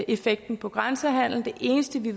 effekten på grænsehandlen det eneste vi